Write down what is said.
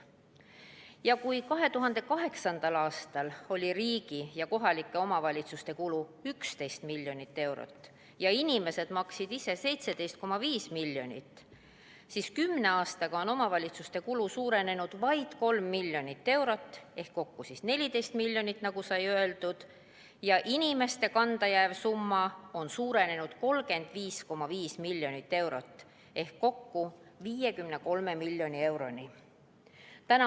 Ja kui 2008. aastal oli riigi ja kohalike omavalitsuste kulu 11 miljonit eurot ja inimesed maksid ise 17,5 miljonit, siis kümne aastaga on omavalitsuste kulu suurenenud vaid 3 miljonit eurot ehk kokku on 14 miljonit, nagu sai öeldud, ja inimeste kanda jääv summa on suurenenud 35,5 miljonit eurot ehk kokku 53 miljoni euroni.